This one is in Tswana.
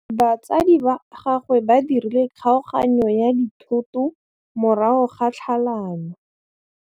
Batsadi ba gagwe ba dirile kgaoganyô ya dithoto morago ga tlhalanô.